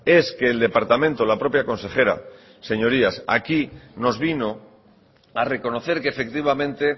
es que el departamento la propia consejera señorías aquí nos vino a reconocer que efectivamente